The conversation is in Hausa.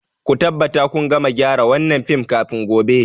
Ku tabbata kun gama gyara wannan fim kafin gobe.